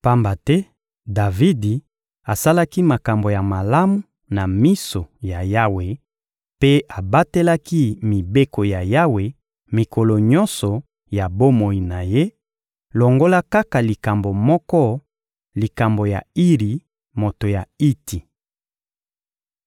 Pamba te Davidi asalaki makambo ya malamu na miso ya Yawe mpe abatelaki mibeko ya Yawe mikolo nyonso ya bomoi na ye, longola kaka likambo moko: likambo ya Iri, moto ya Iti.